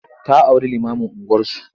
Ta auri limamun unguwarsu.